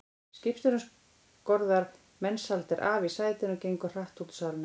Skipstjórinn skorðar Mensalder af í sætinu og gengur hratt út úr salnum.